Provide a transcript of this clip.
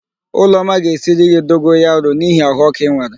Ụlọma ga-esiri gị dogoyaro n'ihi ahụ ọ́kụ́ ị nwere.